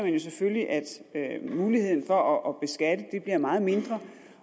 jo selvfølgelig at muligheden for at beskatte bliver meget mindre